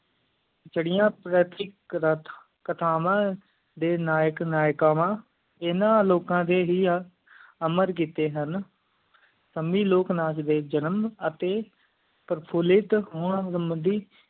ਚਾਰ੍ਯ ਪ੍ਰਤਰਿਕ ਕਥਾਵਾਂ ਡੇ ਨਾਇਕ ਨਾਇਕਾਵਾਂ ਇੰਨਾ ਲੋਕਾਂ ਡੇ ਹੀ ਅਮਰ ਕੀਤੀ ਹਨ ਸਾਮੀ ਲੋਕ ਨਾਚ ਡੇ ਜਨਮ ਅਤਿ ਪ੍ਰਫੋਲਿਟ ਹੋਣ ਮੁੰਡੀ